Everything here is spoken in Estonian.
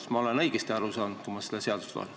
Kas ma olen seadust lugedes õigesti aru saanud?